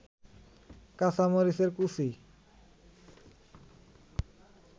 কাঁচামরিচের কুচি